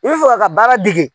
I bɛ fɛ ka ka baara degi.